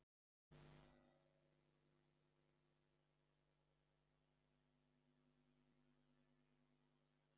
Helga Arnardóttir: Ertu þá að reyna að segja að þið hafið bara verið blekktir?